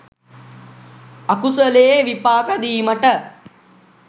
අකුසලයේ විපාක දීමට